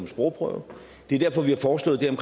sprogprøve og det er derfor vi har foreslået det